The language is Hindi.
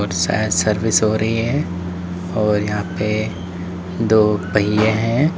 शायद सर्विस हो रही है और यहां पर दो पहिए हैं।